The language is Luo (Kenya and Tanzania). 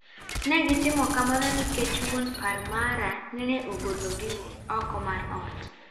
Negitimo kamano nikech wuon par mara neneogolo gi oko mar ot.